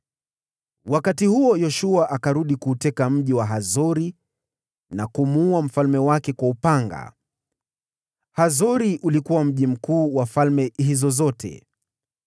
Wakati huo Yoshua akarudi na kuuteka mji wa Hazori na kumuua mfalme wake kwa upanga. (Hazori ulikuwa mji mkuu wa falme hizo zote.)